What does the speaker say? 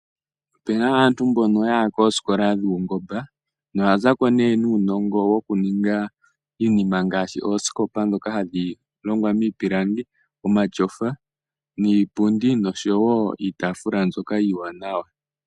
Ope na aantu mboka yaya kosikola dhuungomba noya zako ne nuunongo wokuninga iinima ngaashi ooskopa ndhoka hadhi longwa miipilangi, omatyofa niipundi noshowo iitaafula mbyoka iiwanawa.